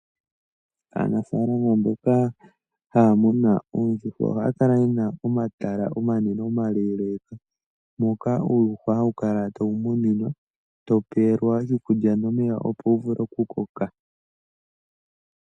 Aanafaalama mboka haya munu oondjuhwa ohaya kala ye na omatala omanene omaleeleeka moka uuyuhwa hawu kala tawu muninwa, tawu pewelwa iikulya nomeya, opo wu vule okukoka.